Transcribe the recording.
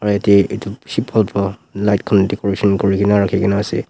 aro yate edu bishi bhal bhal light khan decoration kurikaena na rakhikaena ase.